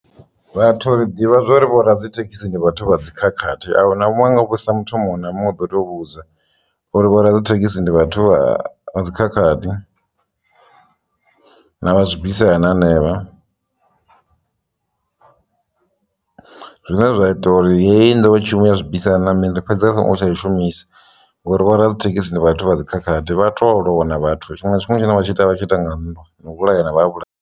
Vhathu ri ḓivha zwa uri vho radzithekhisi ndi vhathu vha dzikhakhathi a hu na munwe nga vhusa muthu muṅwe na muṅwe ḓo to vhudza uri vhoradzithekhisi ndi vhathu vha vha dzikhakhathi na vha zwibisana hanevha . Zwine zwa ita uri hei nḓowetshumo ya zwibisana na mini i fhedze i songo tsha i shumisi ngori vhoradzithekhisi ndi vhathu vha dzikhakhathi vha to lwa na vhathu tshiṅwe na tshiṅwe tshine tsha ita vhatshi ita nga ndwa na u vhulayana vha ha vhulayana.